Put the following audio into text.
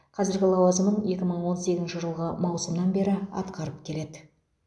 қазіргі лауазымын екі мың он сегізінші жылғы маусымнан бері атқарып келеді